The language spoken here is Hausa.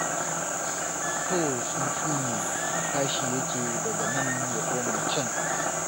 So tsuntu ne tashi yake daga nan ya koma can.